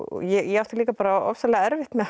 ég átti líka bara ofsalega erfitt með